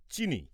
চিনি